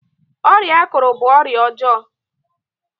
ọrịa akuru bu ọrịa ọjọọ